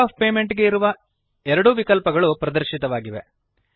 mode of payment ಗೆ ಇರುವ ಎರಡೂ ವಿಕಲ್ಪಗಳು ಪ್ರದರ್ಶಿತವಾಗಿವೆ